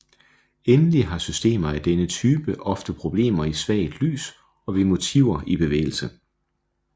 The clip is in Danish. Endelig har systemer af denne type ofte problemer i svagt lys og ved motiver i bevægelse